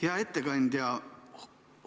Hea ettekandja!